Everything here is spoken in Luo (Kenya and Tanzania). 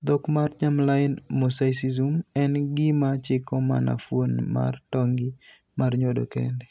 Dhok mar germline mosaicism, en gima chiko mana fuon mar tong' gi mar nyodo kende.